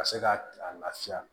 Ka se ka a lafiya